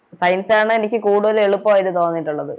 Science ആണ് എനിക്ക് കൂടുതൽ എളുപ്പായിട്ട് തോന്നിട്ടുള്ളത്